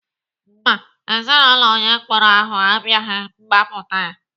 Mba, Ezinaụlọ onye mkpọrọ ahụ abịaghị gbapụta ya.